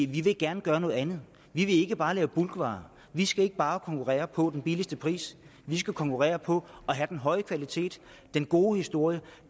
vi vil gerne gøre noget andet vi vil ikke bare lave bulkvarer vi skal ikke bare konkurrere på den laveste pris vi skal konkurrere på den høje kvalitet den gode historie